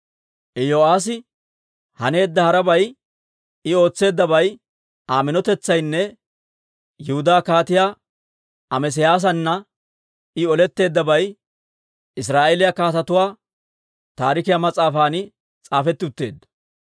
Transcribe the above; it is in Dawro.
Iyo'aassi haneedda harabay, I ootseeddabay, Aa minotetsaynne Yihudaa Kaatiyaa Amesiyaasana I oletteeddabay Israa'eeliyaa Kaatetuwaa Taarikiyaa mas'aafan s'aafetti utteedda.